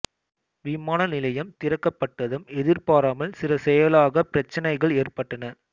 விமான நிலையம் திறக்கப்பட்டதும் எதிர்பாராமல் சில செயலாக்கப் பிரச்னைகள் ஏற்பட்டன